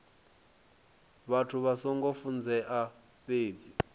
vhathu vha songo funzeaho fhedzi